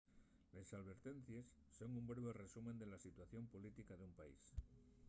les alvertencies son un breve resumen de la situación política d'un país